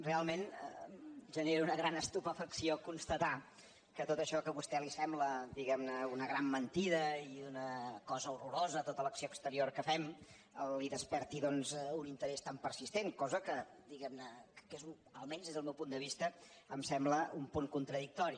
realment genera una gran estupefacció constatar que tot això que a vostè li sembla diguem ne una gran mentida i una cosa horrorosa tota l’acció exterior que fem li desperti doncs un interès tan persistent cosa que diguem ne almenys des del meu punt de vista em sembla un punt contradictori